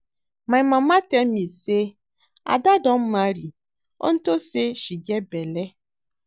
My mama tell me say Ada don marry unto say she get bele